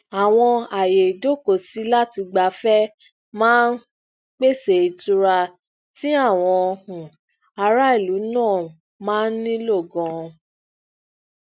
àwọn aaye idokosilatigbafẹ maa n pese itura ti awọn um ara ilu nla maa n ni nilo ganan